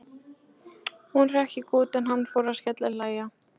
Hún hrökk í kút en hann fór að skellihlæja.